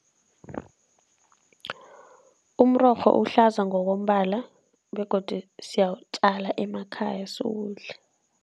Umrorho uhlaza ngokombala begodu siyawutjala emakhaya, siwudle.